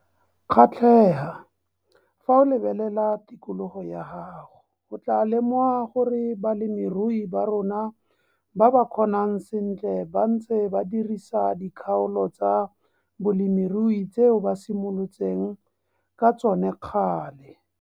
Kgatlhega, fa o lebelela tikologo ya gago - o tlaa lemoga gore balemirui ba rona ba ba kgonang sentle ba ntse ba dirisa dikgaolo tsa bolemirui tseo ba simolotseng ka tsone kgale.